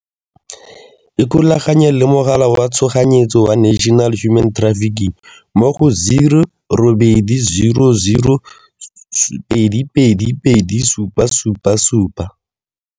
Ikgolaganye le Mogala wa Tshoganyetso wa National Human Trafficking mo go, 0800 222 777.